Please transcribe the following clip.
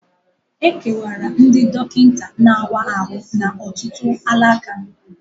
E kewara ndị dọkịta na-awa ahụ n'ọtụtụ alaka